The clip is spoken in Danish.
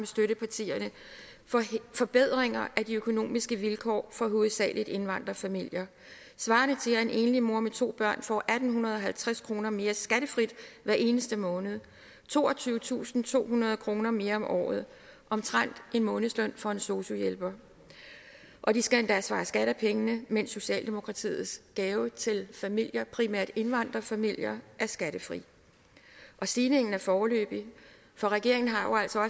støttepartierne forbedringer af de økonomiske vilkår for hovedsagelig indvandrerfamilier svarende til at en enlig mor med to børn får atten halvtreds kroner mere skattefrit hver eneste måned toogtyvetusinde og tohundrede kroner mere om året omtrent en månedsløn for en sosu hjælper og de skal endda svare skat af pengene mens socialdemokratiets gave til familier primært indvandrerfamilier er skattefri og stigningen er foreløbig for regeringen har jo altså